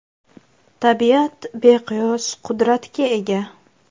Tabiat beqiyos qudratga ega.